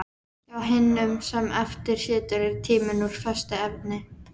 Hjá hinum sem eftir situr er tíminn úr föstu efni.